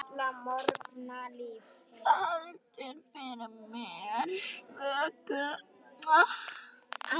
Það heldur fyrir mér vöku.